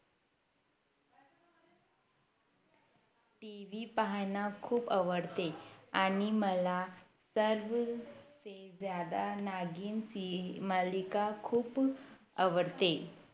TV पाहणं खूप आवडते आणि मला सर्वसे ज्यादा नागीण मालिका खूप आवडते